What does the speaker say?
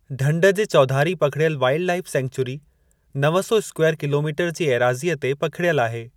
ढंढ जे चौधारी पखिड़ियल वाइलड लाईफ़ सेंचुरी नव सौ स्कूवायर किलोमीटर जी एराज़ीअ ते पखिड़ियल आहे।